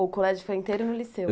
Ou o colégio foi inteiro no Liceu?